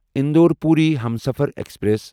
Indore Puri Humsafar express